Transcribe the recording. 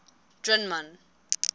drunman